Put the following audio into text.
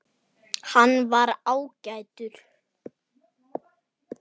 Hann var ágætur